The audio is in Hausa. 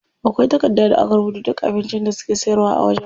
Akwai takarda da aka rubuta duk abincin da suke siyarwa a wajen.